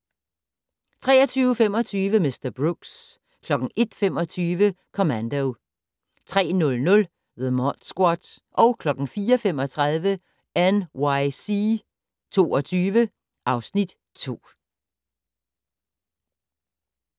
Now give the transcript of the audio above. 23:25: Mr. Brooks 01:25: Commando 03:00: The Mod Squad 04:35: NYC 22 (Afs. 2)